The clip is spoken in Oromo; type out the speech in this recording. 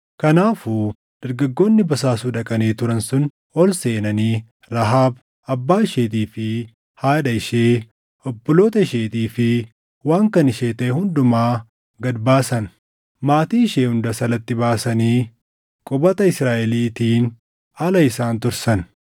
Kanaafuu dargaggoonni basaasuu dhaqanii turan sun ol seenanii Rahaab, abbaa isheetii fi haadha ishee, obboloota isheetii fi waan kan ishee taʼe hundumaa gad baasan. Maatii ishee hundas alatti baasanii qubata Israaʼeliitiin ala isaan tursan.